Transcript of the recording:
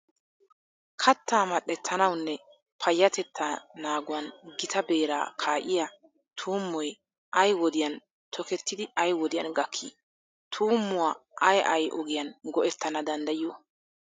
Kattaa mal"ettanawunne payyatettaa naaguwan gita beeraa kaa'iya tuummoy ay wodiyan tokettidi ay wodiyan gakkii? Tuummuwa ay ay ogiyan go"ettana danddayiyo?